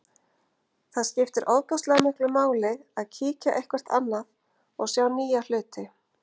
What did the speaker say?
Það skiptir ofboðslega miklu máli að kíkja eitthvert annað og sjá nýja hluti.